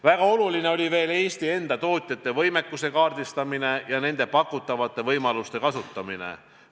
Väga oluline oli veel Eesti enda tootjate võimekuse kaardistamine ja nende pakutavate võimaluste kasutamine.